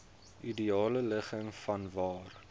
ideale ligging vanwaar